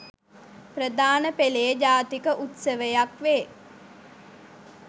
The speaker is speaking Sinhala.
ප්‍රධාන පෙළේ ජාතික උත්සවයක් වේ.